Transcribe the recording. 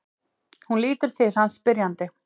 Hún lítur til hans spyrjandi.